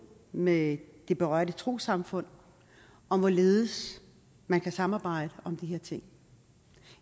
med de berørte trossamfund om hvorledes man kan samarbejde om de her ting